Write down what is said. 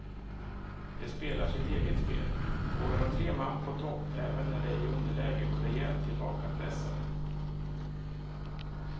De spelar sitt eget spel, vågar ha tre man på topp även när de är i underläge och rejält tillbakapressade.